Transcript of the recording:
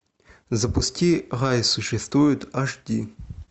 запусти рай существует аш ди